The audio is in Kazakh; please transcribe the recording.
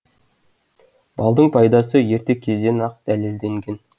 балдың пайдасы ерте кезден ақ дәлелденген